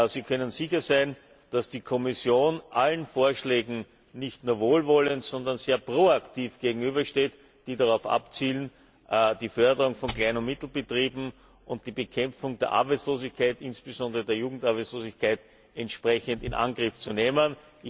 Sie können sicher sein, dass die Kommission allen Vorschlägen nicht nur wohlwollend, sondern sehr pro aktiv gegenübersteht, die darauf abzielen, die Förderung von Klein und Mittelbetrieben und die Bekämpfung der Arbeitslosigkeit, insbesondere der Jugendarbeitslosigkeit, entsprechend in Angriff zu nehmen.